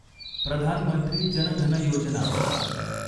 Pradhan Mantri Jan Dhan Yojana